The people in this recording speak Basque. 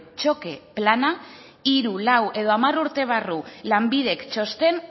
txoke plana hiru lau edo hamar urte barru lanbidek txosten